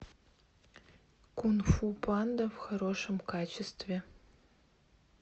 кунг фу панда в хорошем качестве